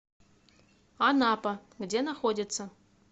анапа где находится